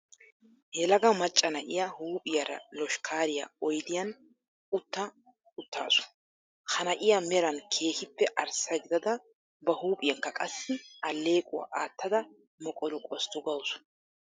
Yelaga macca na'iyaa huuphiyaara loshkkaariyaa oyddiyan utta wottaasu. Ha na'iyaa meran keehippe arssa gidada ba huuphiyankka qassi allequwaa aatada moqolu qosttu gawusu.